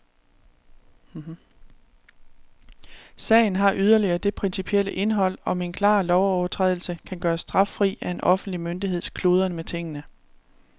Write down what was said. Sagen har yderligere det principielle indhold, om en klar lovovertrædelse kan gøres straffri af en offentlig myndigheds kludren med tingene.